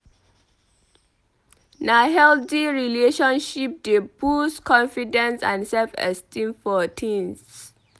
Na healthy relationship dey boost confidence and self-esteem for teens.